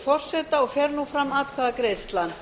forseta og fer nú fram atkvæðagreiðsla